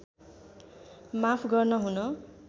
माफ गर्न हुन